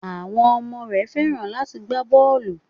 Àwọn ọmọ rẹ Fẹ́ràn láti gbá bọ́ọlù.